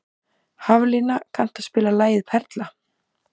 Haflína, kanntu að spila lagið „Perla“?